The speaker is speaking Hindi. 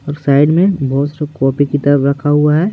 और साइड में बहुत कॉपी की तरफ रखा हुआ है।